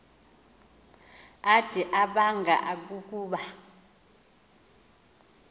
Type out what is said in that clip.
ade abanga ukuba